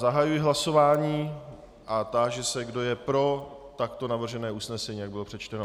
Zahajuji hlasování a táži se, kdo je pro takto navržené usnesení, jak bylo přečteno.